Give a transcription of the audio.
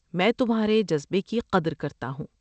میں تمہارے جذبے کی قدر کرتا ہوں۔